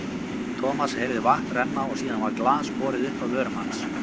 Thomas heyrði vatn renna og síðan var glas borið upp að vörum hans.